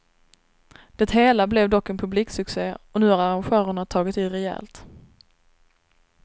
Det hela blev dock en publiksucce och nu har arrangörerna tagit i rejält.